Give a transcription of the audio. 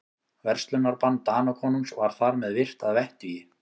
Verslunarbann Danakonungs var þar með virt að vettugi.